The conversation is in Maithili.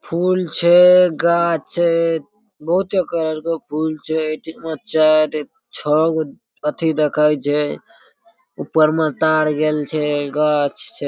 फूल छै गाछ छै बहुते कलर के फूल छै एठीमा चार एक छ गो अथी देखाय छै ऊपर में तार गेल छै गाछ छै।